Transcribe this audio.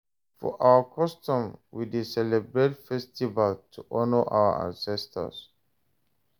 For our custom, we dey celebrate festival to honour our ancestors.